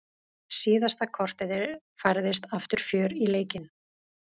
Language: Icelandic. Síðasta korterið færðist aftur fjör í leikinn.